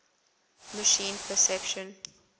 machine perception